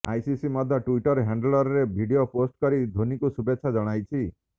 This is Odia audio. ଆଇସିସି ମଧ୍ୟ ଟ୍ବିଟର ହ୍ୟାଣ୍ଡେଲରେ ଭିଡିଓ ପୋଷ୍ଟ କରି ଧୋନୀଙ୍କୁ ଶୁଭେଚ୍ଛା ଜଣାଇଛି